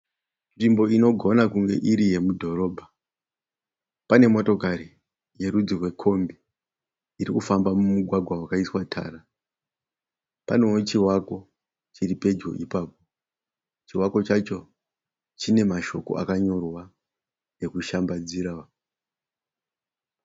Nzvimbo inogona kunge iri yemudhorobha, pane motokari yerudzi rwekombi iri kufamba mumugwagwa wakaiswa tara, panewo chivako chiri pedyo ipapo chivako chacho chine mashoko akanyorwa ekushambadzira.